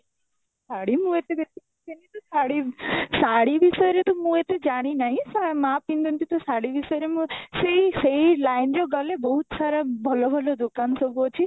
ଶାଢୀ ଶାଢୀ ଶାଢୀ ବିଷୟରେ ତ ମୁଁ ଏତେ ଜାଣି ନାଇଁ ସେ ମା ପିନ୍ଧନ୍ତି ସେ ଶାଢୀ ବିଷୟରେ ମୁଁ ସେଇ ସେଇ line ରେ ଗଲେ ବହୁତ ସାରା ଭଲ ଭଲ ଦୋକାନ ସବୁ ଅଛି